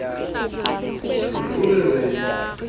o ne o re re